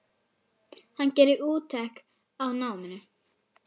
Hann gerði úttekt á náminu.